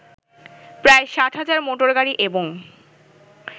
প্রায় ৬০,০০০ মটোরগাড়ি এবং